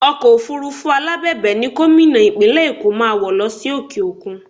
Ọkọ̀ òfurufú alábẹ̀bẹ̀ ni Gómìnà Ìpínlẹ̀ Èkó máa wọ̀ lọ sí òkè òkun